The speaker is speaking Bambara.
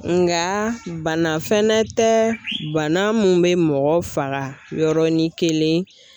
Nka bana fɛnɛ tɛ bana mun bɛ mɔgɔ faga yɔrɔnin kelen.